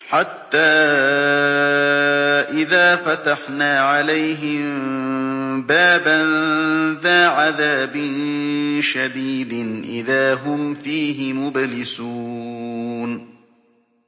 حَتَّىٰ إِذَا فَتَحْنَا عَلَيْهِم بَابًا ذَا عَذَابٍ شَدِيدٍ إِذَا هُمْ فِيهِ مُبْلِسُونَ